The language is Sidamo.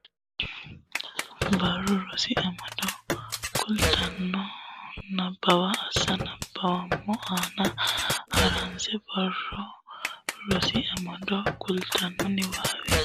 Barru Rosi Amado kultanno niwaawe ani suwise qoonqo naggi Suwise Nabbawa asse nabbaweemmo ana ha runse Barru Rosi Amado kultanno niwaawe.